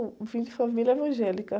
Eu vim de família evangélica.